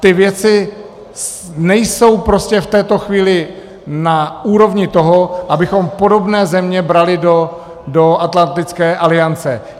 Ty věci nejsou prostě v této chvíli na úrovni toho, abychom podobné země brali do Atlantické aliance.